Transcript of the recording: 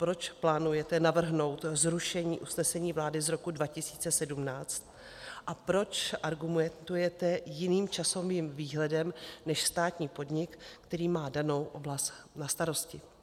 Proč plánujete navrhnout zrušení usnesení vlády z roku 2017 a proč argumentujete jiným časovým výhledem než státní podnik, který má danou oblast na starosti?